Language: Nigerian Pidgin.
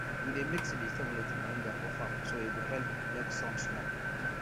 we dey mix vegetable with moringa for farm so e go help block sun small